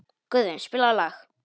Guðvin, spilaðu lag.